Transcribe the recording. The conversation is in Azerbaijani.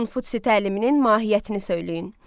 Konfutsi təliminin mahiyyətini söyləyin.